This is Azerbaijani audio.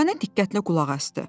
Dürdanə diqqətlə qulaq asdı.